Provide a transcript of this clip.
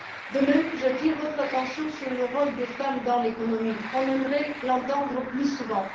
De même, j'attire votre attention sur le rôle des femmes dans l'économie on aimerait l'entendre plus souvent.